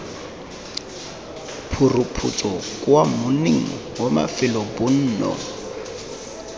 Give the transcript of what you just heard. phuruphutso kwa monning wa mafelobonno